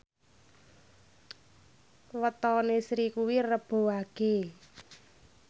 wetone Sri kuwi Rebo Wage